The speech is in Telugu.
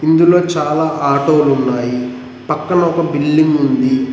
ఇందులో చాలా ఆటో లు ఉన్నాయి పక్కన ఒక బిల్డింగ్ ఉంది.